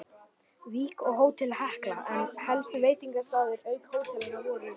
Vík og Hótel Hekla, en helstu veitingastaðir auk hótelanna voru